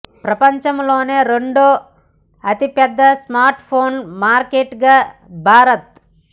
ప్రపంచంలోనే రెండో అతిపెద్ద స్మార్ట్ ఫోన్ మార్కెట్ గా భారత్